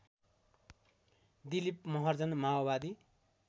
दिलिप महर्जन माओवादी